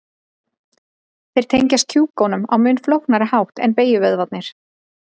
Þeir tengjast kjúkunum á mun flóknari hátt en beygjuvöðvarnir.